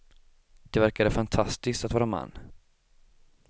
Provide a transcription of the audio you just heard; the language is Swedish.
Det verkade fantastiskt att vara man.